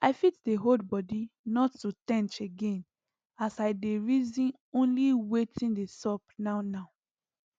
i fit dey hold bodi not to ten ch again as i dey reaon only watin dey sup now now